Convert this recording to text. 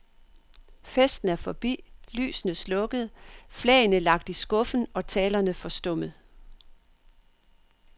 Festen er forbi, lysene slukkede, flagene lagt i skuffen og talerne forstummet.